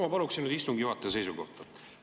Ma paluksin nüüd istungi juhataja seisukohta.